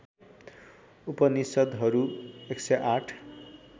उपनिषद्हरू १०८